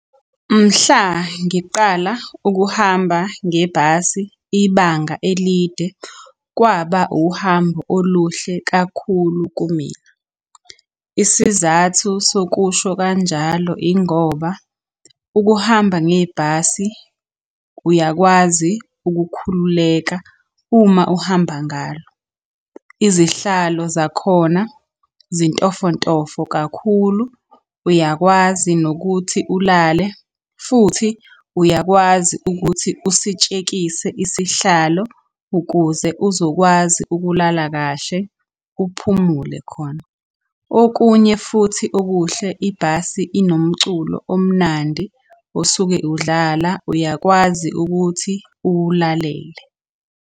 Mhla ngiqala ukuhamba ngebhasi ibanga elide kwaba uhambo oluhle kakhulu kumina. Isizathu sokusho kanjalo ingoba ukuhamba ngebhasi uyakwazi ukukhululeka uma uhamba ngalo. Izihlalo zakhona zintofontofo kakhulu, uyakwazi nokuthi ulale, futhi uyakwazi ukuthi usitshekise isihlalo ukuze uzokwazi ukulala kahle, uphumule khona. Okunye futhi okuhle ibhasi inomculo omnandi osuke udlala uyakwazi ukuthi uwulalele.